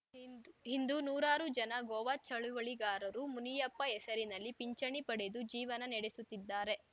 ಇಂದು ನೂರಾರು ಜನ ಗೋವಾ ಚಳುವಳಿಗಾರರು ಮುನಿಯಪ್ಪ ಹೆಸರಿನಲ್ಲಿ ಪಿಂಚಣಿ ಪಡೆದು ಜೀವನ ನೆಡೆಸುತ್ತಿದ್ದಾರೆ